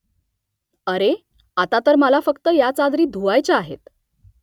अरे . आता तर मला फक्त या चादरी धुवायच्या आहेत